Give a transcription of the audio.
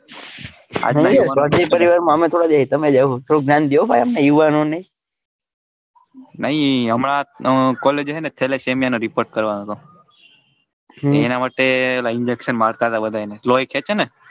પરિવાર માં અમે ક્યાં આવીએ તમે જ આવો થોડું જ્ઞાન દો અમને યુવાનો ને નાઈ હમણાં collage હેને થેલેસેમિયા નો report કરવાનો હતો હમ એના માટે injection માર્ટા હતા બધા એને જે હોય ખેંચે ને,